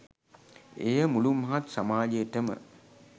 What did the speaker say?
එය මුළු මහත් සමාජයටම